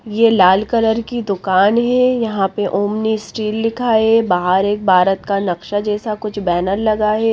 ये लाल कलर की दुकान है यहां पर ओमनी स्टील लिखा है। बाहर एक भारत का नक्शा जैसा कुछ बैनर लगा हैं।